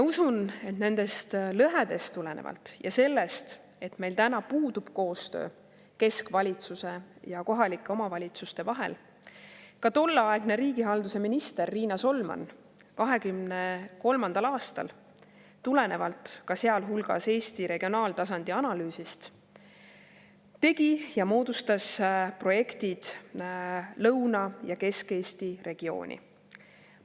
Usun, et tulenevalt nendest lõhedest ja sellest, et meil puudub koostöö keskvalitsuse ja kohalike omavalitsuste vahel, ka tolleaegne riigihalduse minister Riina Solman 2023. aastal, Eesti regionaaltasandi analüüsi, tegi ja moodustas projektid Lõuna- ja Kesk-Eesti regiooni.